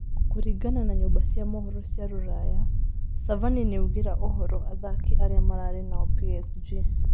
Kũringana na nyũmba cia mohoro cia ruraya, cavani nĩaugĩra ũhoro athaki arĩa mararĩ nao PSG